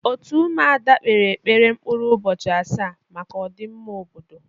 Òtù Ụmụada kpere ekpere mkpụrụ ụbọchị asaa maka ọdịmma obodo.